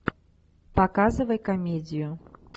показывай комедию